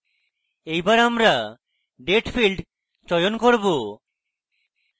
এইবার আমরা date field চয়ন করব